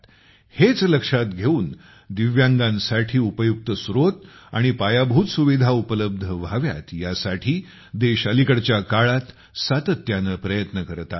हेच लक्षात घेऊनदिव्यांगांसाठी उपयुक्त स्रोत आणि पायाभूत सुविधा उपलब्ध व्हाव्यात यासाठी देश अलिकडच्या काळात सातत्याने प्रयत्न करत आहे